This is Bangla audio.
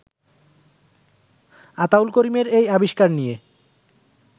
আতাউল করিমের এই আবিস্কার নিয়ে